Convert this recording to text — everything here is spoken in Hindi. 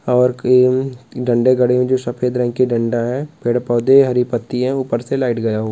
और टीम डंडे गड़े हुए है जो सफेद रंग की डंडा है पेड़ पौधे हरी पट्टी है ऊपर से लाइट --